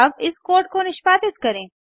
अब इस कोड को निष्पादित करें